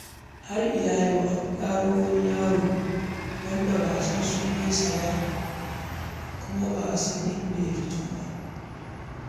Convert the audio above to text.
Har ila yau, an gano wani yaro wanda ba a san sunansa ba ko inda ya fito ba.